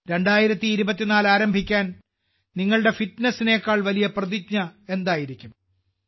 2024 ആരംഭിക്കാൻ നിങ്ങളുടെ ഫിറ്റ്നസിനേക്കാൾ വലിയ പ്രതിജ്ഞ എന്തായിരിക്കും